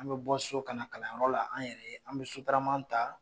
An bɛ bɔ so ka na kalanyɔrɔ la an yɛrɛ ye an bɛ sotarama ta